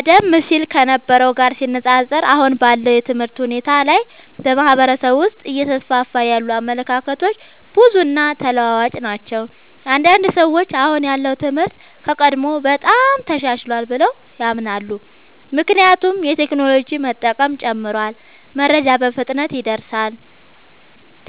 ቀደም ሲል ከነበረው ጋር ሲነፃፀር፣ አሁን ባለው የትምህርት ሁኔታ ላይ በማህበረሰብ ውስጥ እየተስፋፉ ያሉ አመለካከቶች ብዙ እና ተለዋዋጭ ናቸው። አንዳንድ ሰዎች አሁን ያለው ትምህርት ከቀድሞው በጣም ተሻሽሏል ብለው ያምናሉ። ምክንያቱም የቴክኖሎጂ መጠቀም ጨምሯል፣ መረጃ በፍጥነት ይደርሳል፣